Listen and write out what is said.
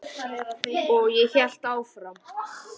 Og ég hélt áfram.